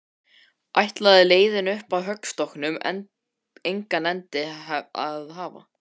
Ætlaði leiðin upp að höggstokknum engan endi að hafa?